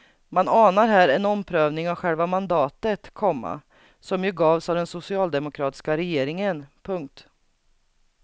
Man anar här en omprövning av själva mandatet, komma som ju gavs av den socialdemokratiska regeringen. punkt